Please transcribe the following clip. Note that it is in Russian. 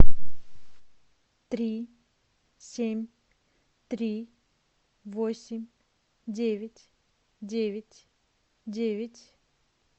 три семь три восемь девять девять девять